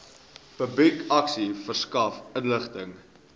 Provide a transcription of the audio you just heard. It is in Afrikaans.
publikasie verskaf inligting